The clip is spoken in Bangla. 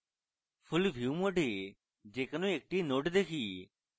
full view mode যে কোনো একটি nodes দেখি